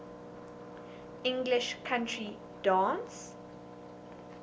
english country dance